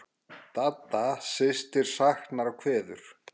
Dadda systir saknar og kveður.